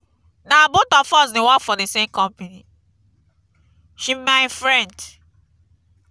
na both of us dey work for the same company. she be my friend.